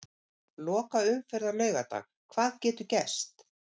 Lokaumferð á laugardag- Hvað getur gerst?